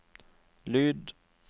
lyd